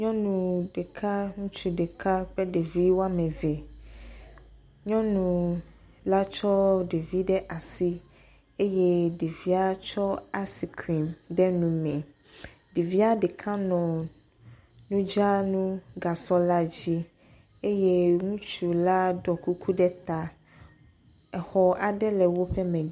Nyɔnu ɖeka ŋutsu ɖeka kple ɖeviwo ame eve. Nyɔnu la tsɔ ɖevi ɖe asi eye ɖevia tsɔ asikrim de nu me. Ɖevia ɖeka le nudzranugasɔ la dzi. Ŋutsu la ɖɔ kuku ɖe ta. Exɔ aɖe le woƒe me.